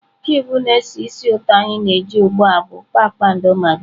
Kụịbụ na-esi ísì ụtọ anyị na-eji ugbu a bụ kpakpando magị.